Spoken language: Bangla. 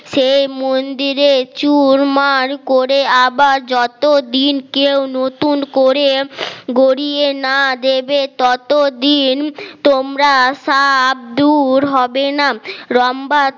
সে মন্দিরে চুরমার করে আবার যতদিন কেউ নতুন করে গড়িয়ে না দেবে ততদিন তোমরা সাব দূর হবে না রম্ভা